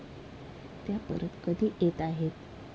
त्या परत कधी येताहेत?